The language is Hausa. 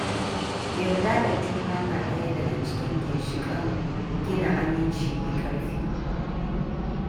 Yarda da juna na ɗaya daga cikin ginshiƙan gina aminci mai ƙarfi.